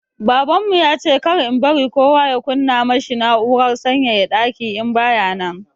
Babanmu ya ce kar in bari kowa ya kunna ma shi na'urar sanyaya daki in baya nan.